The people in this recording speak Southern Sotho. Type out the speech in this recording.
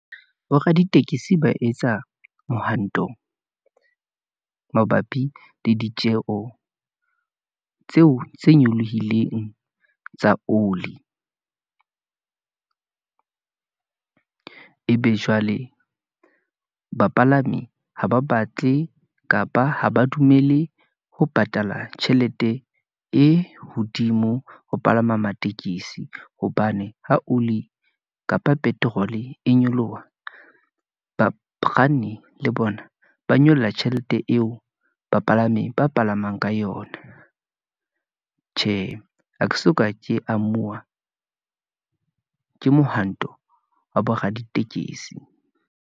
Boraditekesi ba etsa mohanto mabapi le ditjeho tseo tse nyolohileng tsa oli , ebe jwale bapalami ha ba batle kapa ha ba dumele ho patala tjhelete e hodimo ho palama tekesi, hobane ha oli kapa petrol-e e nyoloha, bakganni le bona ba nyolla tjhelete eo bapalami ba palamang ka yona. Tjhe, ha ke soka, ke amuwa ke mohwanto wa bo raditekesi.